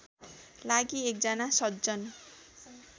लागि एकजना सज्जन